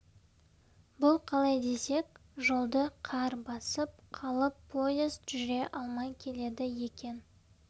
бұл қалай десек жолды қар басып қалып поезд жүре алмай келеді екен